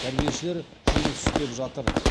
тәрбиешілер жұмыс істе жатыр